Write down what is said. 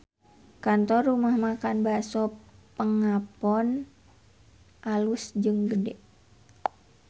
Kantor Rumah Makan Bakso Pengapon alus jeung gede